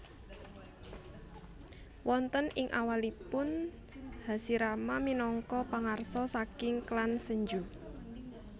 Wonten ing awalipun Hashirama minangka pangarsa saking klan Senju